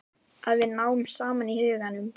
Að við náum saman í huganum.